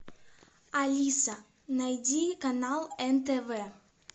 алиса найди канал нтв